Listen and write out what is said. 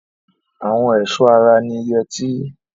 Ara ẹ̀ṣọ́ ara ni yẹtí.